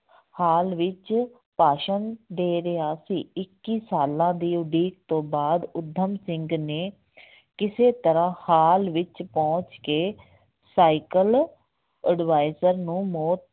ਹਾਲ ਵਿੱਚ ਭਾਸ਼ਣ ਦੇ ਰਿਹਾ ਸੀ ਇੱਕੀ ਸਾਲਾਂ ਦੀ ਉਡੀਕ ਤੋਂ ਬਾਅਦ ਊਧਮ ਸਿੰਘ ਨੇ ਕਿਸੇ ਤਰ੍ਹਾਂ ਹਾਲ ਵਿੱਚ ਪਹੁੰਚ ਕੇ ਸਾਇਕਲ ਉਡਵਾਇਜਰ ਨੂੰ ਮੌ